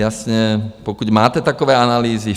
Jasně, pokud máte takové analýzy.